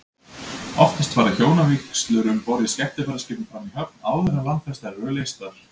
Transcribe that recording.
Oftast fara hjónavígslur um borð í skemmtiferðaskipum fram í höfn, áður en landfestar eru leystar.